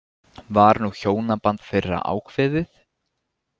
Var nú hjónaband þeirra ákveðið.